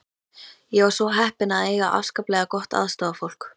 Ég var svo heppin að eiga afskaplega gott aðstoðarfólk.